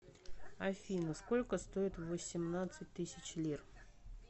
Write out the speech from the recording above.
афина сколько стоит восемнадцать тысяч лир